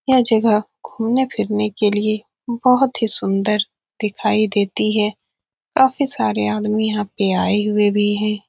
यह जगह घूमने फिरने के लिए बहुत ही सुन्दर दिखाई देती है काफी सारे आदमी यहाँ पे आये हुए भी है।